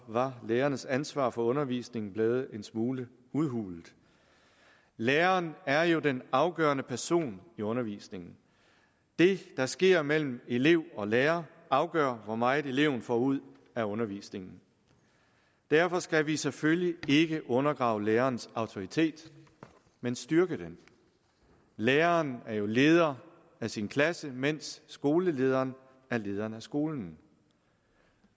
var lærernes ansvar for undervisningen blevet en smule udhulet læreren er jo den afgørende person i undervisningen det der sker mellem elev og lærer afgør hvor meget eleven får ud af undervisningen derfor skal vi selvfølgelig ikke undergrave lærerens autoritet men styrke den læreren er jo leder af sin klasse mens skolelederen er leder af skolen